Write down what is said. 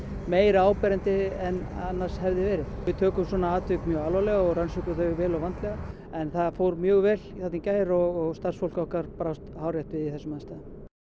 meira áberandi en annars hefði verið við tökum svona atvik mjög alvarlega og rannsökum þau vel og vandlega en það fór mjög vel þarna í gær og starfsfólk okkar brást hárrétt við í þessum aðstæðum